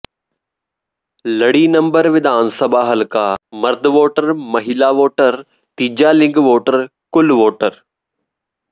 ਲੜੀ ਨੰਬਰ ਵਿਧਾਨ ਸਭਾ ਹਲਕਾ ਮਰਦ ਵੋਟਰ ਮਹਿਲਾ ਵੋਟਰ ਤੀਜਾ ਿਲੰਗ ਵੋਟਰ ਕੁੱਲ ਵੋਟਰ